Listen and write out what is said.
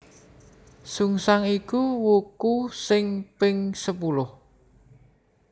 Sungsang iku wuku sing ping sepuluh